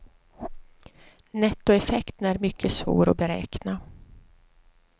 Nettoeffekten är mycket svår att beräkna.